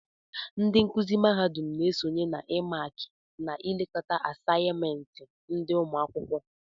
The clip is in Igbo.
Ndị nkụzi mahadum na-esonye n'ịmààkị na ịlekọta àsáyịméntị ndị ụmụakwụkwọ